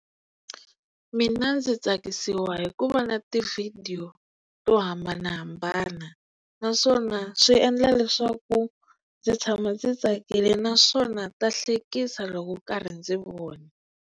Mina ndzi tsakisiwa hi ku vona tivhidiyo to hambanahambana naswona swi endla leswaku ndzi tshama ndzi tsakile naswona ta hlekisa loko karhi ndzi vona.